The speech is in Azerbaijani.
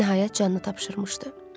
Nəhayət, canını tapşırmışdı.